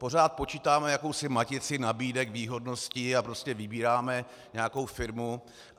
Pořád počítáme jakousi matici nabídek, výhodnosti a prostě vybíráme nějakou firmu.